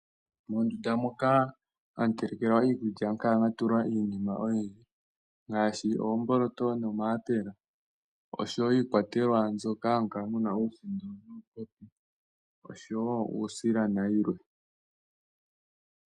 Mondunda moka hamu telekelwa iikulya ohamu kala mwatulwa iinima oyindji ngaashi oomboloto nomayapela noshowoo iikwatelwa moka hamu kala muna uusindo nuusila.